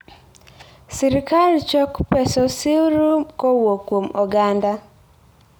Sirkal choko pes osuru kowuok kuom oganda.